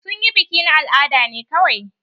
Sun yi biki na al'ada ne kawai.